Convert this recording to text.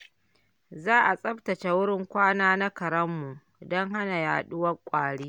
Za a tsaftace wurin kwana na karenmu don hana yaduwar ƙwari.